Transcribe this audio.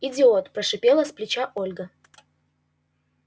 идиот прошипела с плеча ольга